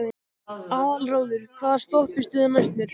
Aðalráður, hvaða stoppistöð er næst mér?